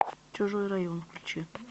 чужой район включи